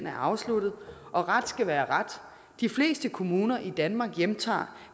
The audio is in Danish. er afsluttet og ret skal være ret de fleste kommuner i danmark hjemtager